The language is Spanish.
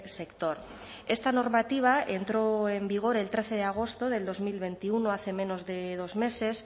sector esta normativa entró en vigor el trece de agosto de dos mil veintiuno hace menos de dos meses